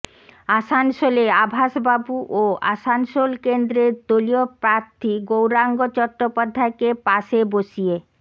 আসানসোলে আভাসবাবু ও আসানসোল কেন্দ্রের দলীয় প্রার্থী গৌরাঙ্গ চট্টোপাধ্যায়কে পাশে বসিয়ে